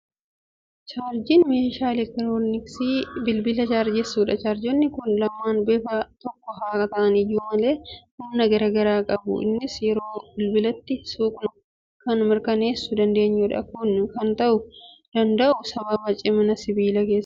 Chaarjeriin meeshaa elektirooniksii bilbila chaarjessudha. Chaarjeroonni kun lamaan bifaan tokko haa ta'an iyyuu malee, humna garaa garaa qabu. Innis yeroo bilbilatti suuqnu kan mirkaneessuu dandeenyudha. Kun kan ta'uu danda'u sababa cimina sibiila keessaati.